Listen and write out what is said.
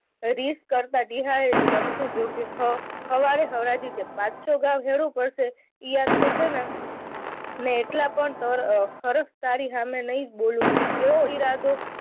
રીસ કરતા ટીહાએ નમતું જોખ્યું. સવારે હરાજી છે. પાછો પડશે. એ યાદ કરશે ને. મેં એટલા પણ અર હરખ તારી સામે નહી બોલું એવો ઈરાદો